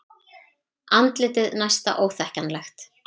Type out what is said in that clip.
Andlitið næsta óþekkjanlegt.